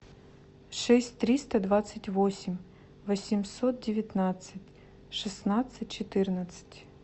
шесть триста двадцать восемь восемьсот девятнадцать шестнадцать четырнадцать